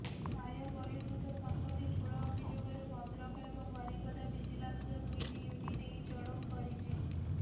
ଆୟବହିର୍ଭୂତ ସମ୍ପତ୍ତି ଠୁଳ ଅଭିଯୋଗରେ ଭଦ୍ରକ ଏବଂ ବାରିପଦା ଭିଜିଲାନ୍ସର ଦୁଇଟି ୟୁନିଟ୍ ଏହି ଚଢ଼ଉ କରିଛି